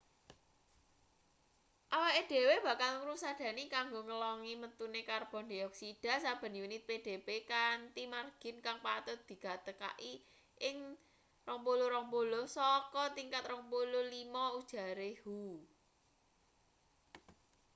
"awake dhewe bakal ngusadani kanggo ngelongi metune karbon dioksida saben unit pdb kanthi margin kang patut digatekaki ing 2020 saka tingkat 2005 ujare hu.